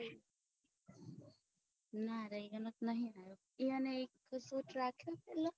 ના યો નો તો નહિ આવ્યો યો ને એક